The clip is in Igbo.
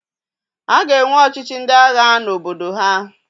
A ga-enwe ọchịchị ndị agha n'obodo ha.